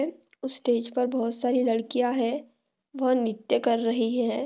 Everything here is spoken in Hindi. उस स्टेज पर बहुत सारी लड़किया है। वो नृत्य कर रही है।